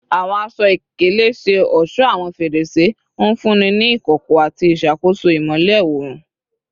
Awọn aṣọ-ikele ṣe ọṣọ awọn ferese, nfunni ni ikọkọ ati iṣakoso imọlẹ oorun